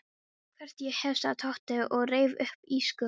Hvort ég hef, sagði Tóti og reif upp ísskápshurðina.